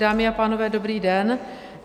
Dámy a pánové, dobrý den.